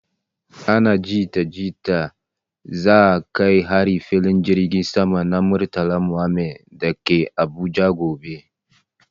ana jita jita za a kai hari filin jirgin sama na Murtala Muhammed dake Abuja gobe